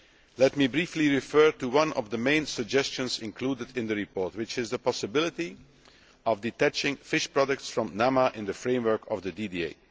Let me briefly refer to one of the main suggestions included in the report, which is the possibility of detaching fish products from NAMA in the framework of the DDA.